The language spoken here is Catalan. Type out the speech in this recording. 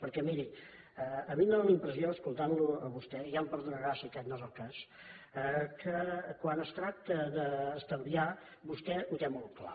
perquè miri a mi en dóna la impressió escoltant lo a vostè ja em perdonarà si aquest no és el cas que quan es tracta d’estalviar vostè ho té molt clar